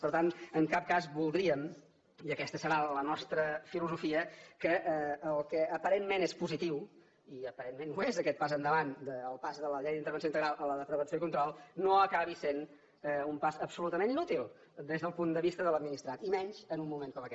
per tant en cap cas voldríem i aquesta serà la nostra filosofia que el que aparentment és positiu i aparentment ho és aquest pas endavant el pas de la llei d’intervenció integral a la de prevenció i control no acabi sent un pas absolutament inútil des del punt de vista de l’administrat i menys en un moment com aquest